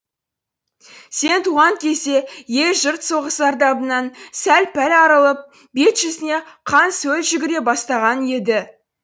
сен туған кезде ел жұрт соғыс зардабынан сәл пәл арылып бет жүзіне қан сөл жүгіре бастаған еді